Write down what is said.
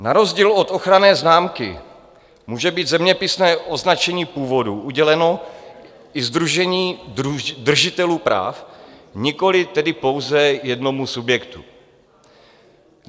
Na rozdíl od ochranné známky může být zeměpisné označení původu uděleno i sdružení držitelů práv, nikoli tedy pouze jednomu subjektu.